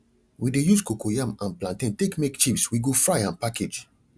we de use cocoyam and plantain take make chips we go fry and package